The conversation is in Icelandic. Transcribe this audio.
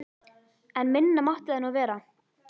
En minna mátti það nú vera.